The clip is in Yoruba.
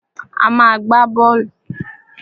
A má a gbá bọ́ọ́lù.